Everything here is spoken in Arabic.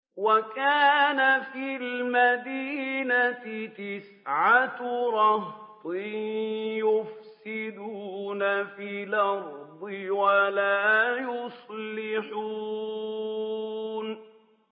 وَكَانَ فِي الْمَدِينَةِ تِسْعَةُ رَهْطٍ يُفْسِدُونَ فِي الْأَرْضِ وَلَا يُصْلِحُونَ